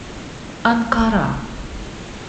анкара